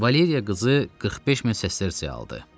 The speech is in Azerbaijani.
Valeriya qızı 45000 sesterseyə aldı.